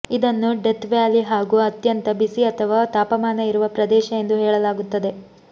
ಇದನ್ನು Death Valley ಹಾಗೂ ಅತ್ಯಂತ ಬಿಸಿ ಅಥವಾ ತಾಪಮಾನ ಇರುವ ಪ್ರದೇಶ ಎಂದು ಹೇಳಲಾಗುತ್ತದೆ